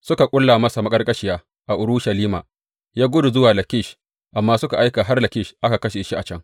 Suka ƙulla masa maƙarƙashiya a Urushalima, ya gudu zuwa Lakish, amma suka aika har Lakish aka kashe shi a can.